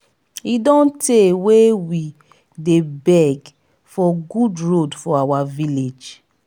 e don tey wey we dey beg for good road for our village.